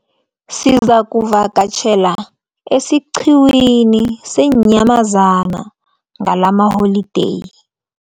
Sizakuvakatjhela esiqhiwini seenyamazana ngalamaholideyi.